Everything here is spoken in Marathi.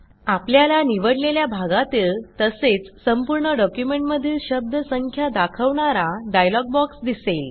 आपल्याला निवडलेल्या भागातील तसेच संपूर्ण डॉक्युमेंटमधील शब्द संख्या दाखवणारा डायलॉग बॉक्स दिसेल